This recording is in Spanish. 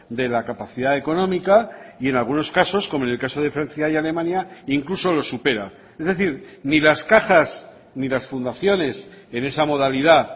de la capacidad económica y en algunos casos como en el caso de francia y alemania incluso lo supera es decir ni las cajas ni las fundaciones en esa modalidad